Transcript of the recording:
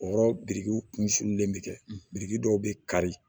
O yɔrɔ birikiw kun furulen bɛ kɛ biriki dɔw bɛ kari